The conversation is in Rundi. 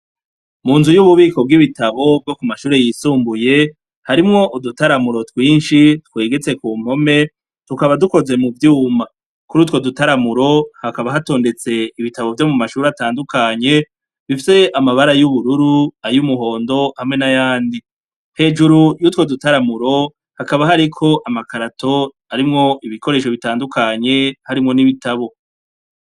Mu nzu y'ububiko bw'ibitabu bwo Ku mashure yisumbuye harimwo udutaramuro twinshi twegetse ku mpome, tukaba dukoze mu vyuma. Kuri utwo dutaramuro hakaba hatondetse ibitabu vyo mu mashure atandukanye bifise amabara y'ubururu, ay'umuhondo hamwe n'ayandi. Hejuru y'utwo dutaramuro hakaba hariko amakarato arimwo ibikoresho bitandukanye harimwo n'ibitabu.